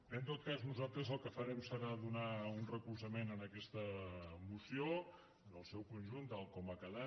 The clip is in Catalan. bé en tot cas nosaltres el que farem serà donar un recolzament en aquesta moció en el seu conjunt tal com ha quedat